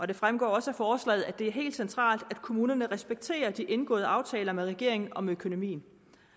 det fremgår også af forslaget at det er helt centralt at kommunerne respekterer de indgåede aftaler med regeringen om økonomien